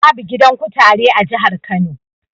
Babu. gidan kutare a jihar Kano.